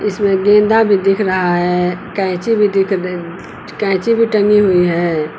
इसमें गेंदा भी दिख रहा है कैंची भी दिख रही कैंची भी टंगी हुई है।